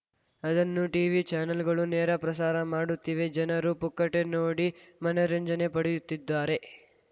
ಅದನ್ನು ಟೀವಿ ಚಾನಲ್‌ಗಳು ನೇರಪ್ರಸಾರ ಮಾಡುತ್ತಿವೆ ಜನರು ಪುಕ್ಕಟೆ ನೋಡಿ ಮನರಂಜನೆ ಪಡೆಯುತ್ತಿದ್ದಾರೆ